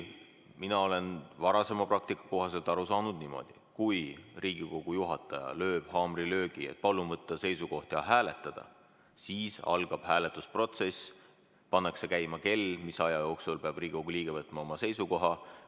Mina olen varasema praktika kohaselt aru saanud niimoodi, kui Riigikogu juhataja teeb haamrilöögi, et palun võtta seisukoht ja hääletada, siis algab hääletusprotsess, pannakse käima kell, mis aja jooksul peab Riigikogu liige võtma oma seisukoha.